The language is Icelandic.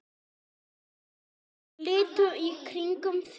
líttu í kringum þig